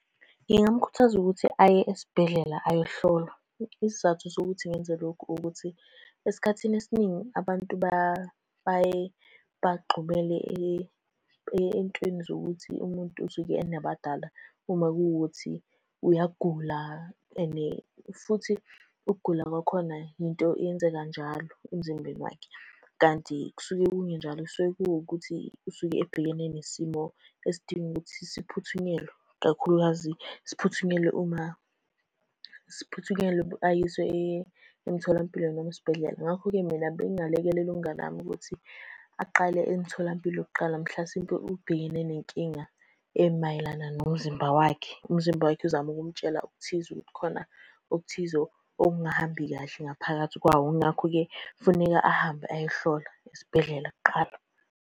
Ngingamkhuthaza ukuthi aye esibhedlela ayohlolwa. Isizathu sokuthi ngenze lokhu ukuthi, esikhathini esiningi abantu baye bagxumele ey'ntweni zokuthi umuntu usuke enabadala uma kuwukuthi uyagula, and futhi ukugula kwakhona yinto eyenzeka njalo emzimbeni wakhe. Kanti kusuke kungenjalo kusuke kuwukuthi usuke ebhekene nesimo esidinga ukuthi siphuthunyelwe ikakhulukazi siphuthunyelwe uma siphuthunyelwe ayiswe emtholampilo noma esibhedlela. Ngakho-ke mina bengingalekelela umngani wami ukuthi aqale emtholampilo kuqala mhlasimpe ubhekene nenkinga emayelana nomzimba wakhe. Umzimba wakhe uzama ukumtshela okuthize, ukuthi khona okuthize okungahambi kahle ngaphakathi kwawo, ngakho-ke kufuneka ahambe ayohlola esibhedlela kuqala.